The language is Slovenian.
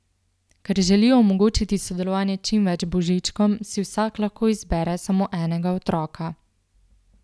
Ker želijo omogočiti sodelovanje čim več Božičkom, si vsak lahko izbere samo enega otroka.